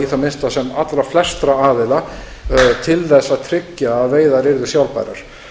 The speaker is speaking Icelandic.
í það minnsta sem allra flestra aðila til að tryggja að veiðar yrðu sjálfbærar